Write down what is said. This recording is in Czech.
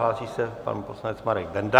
Hlásí se pan poslanec Marek Benda.